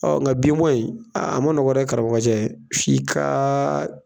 Ɔ n ka bin bɔ in, a ma nɔgɔ dɛ karamɔgɔ f' i ka.